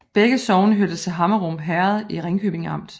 Begge sogne hørte til Hammerum Herred i Ringkøbing Amt